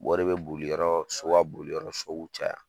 Wari be boli yɔrɔ , so b'a boli yɔrɔ . So b'u caya.